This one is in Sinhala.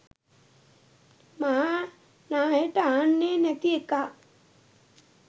මහා නාහෙට අහන්නේ නැති එකා.